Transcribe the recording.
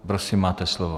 Prosím, máte slovo.